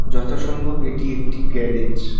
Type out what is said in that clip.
যথা সম্ভব এটি একটি গ্যারেজ ।